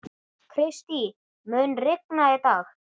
Kristý, mun rigna í dag?